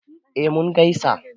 eh mun gaisa